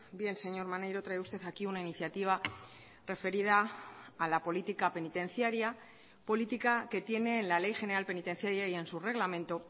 bien señor maneiro trae usted aquí una iniciativa referida a la política penitenciaria política que tiene en la ley general penitenciaria y en su reglamento